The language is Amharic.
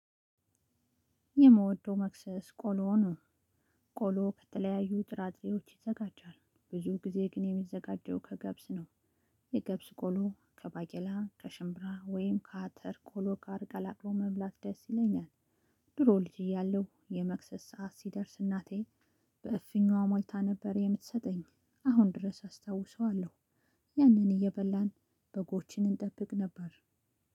የምወደው መክሰስ ቆሎ ነው። ቆሎ ከተለያዩ ጥራጥሬዎች ይዘጋጃል ብዙ ጊዜ ግን የሚዘጋጀው ከገብስ ነው። የገብስ ቆሎ ከባቄላ ከሽምብራ ወይም ከአተር ቆሎ ጋር ቀላቅለን መብላት ደስ ይለኛል። ድሮ ልጅ እያለሁ የመክሰስ ሰዓት ሲደርስ እናቴ በእፍኝ ሞልታ ነበር የምትሰጠኝ አሁን ድረስ አስታውሰዋለሁ። ያንን እየበላን በጎችን እንጠብቅ ነበር።